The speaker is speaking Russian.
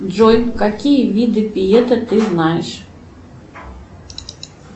джой какие виды пиета ты знаешь